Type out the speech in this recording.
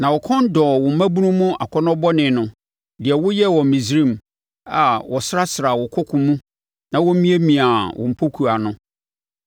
Na wo kɔn dɔɔ wo mmabunu mu akɔnnɔ bɔne no, deɛ woyɛɛ wɔ Misraim a wɔsrasraa wo koko mu na wɔmiamiaa wo mpɔkowa no.